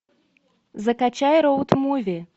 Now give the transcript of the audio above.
закачай роуд муви